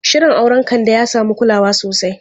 Shirin auren Kande ya samu kulawa sosai.